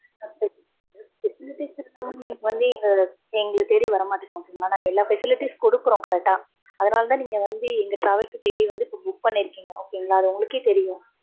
facilities இல்லாம நீங்க வந்து எங்க, எங்கள தேடி வர மாட்டீங்க. okay ங்களா. நாங்க எல்லா facilities குடுக்குறோம் correct ஆ. அதனாலதான் நீங்க வந்து, எங்க travels ஆ தேடி வந்து இப்ப book பண்ணிருக்கீங்க. okay ங்களா. அது உங்களுக்கே தெரியும்.